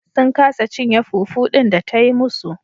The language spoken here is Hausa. Sun kasa cinye fufu din da ta yi musu.